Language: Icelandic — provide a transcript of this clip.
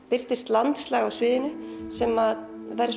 birtist landslag á sviðinu sem